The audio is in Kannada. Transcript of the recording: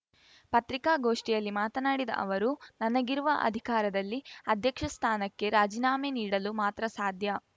ಪತ್ರಿಕಾಗೋಷ್ಟಿಯಲ್ಲಿ ಮಾತನಾಡಿದ ಅವರು ನನಗಿರುವ ಅಧಿಕಾರದಲ್ಲಿ ಅಧ್ಯಕ್ಷ ಸ್ಥಾನಕ್ಕೆ ರಾಜಿನಾಮೆ ನೀಡಲು ಮಾತ್ರ ಸಾಧ್ಯ